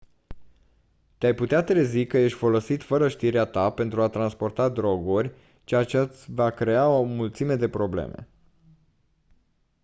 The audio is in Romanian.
te-ai putea trezi că ești folosit fără știrea ta pentru a transporta droguri ceea ce-ți va crea o mulțime de probleme